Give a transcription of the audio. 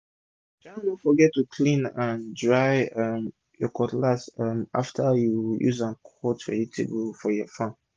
sha no forget to clean and dry um ur cutlass um after u don use am cut vegetable for farm